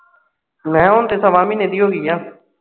ਮੈਂ ਕਿਹਾ ਉਹ ਤਾਂ ਸਵਾ ਮਹੀਨੇ ਦੀ ਹੋ ਗਈ ਏ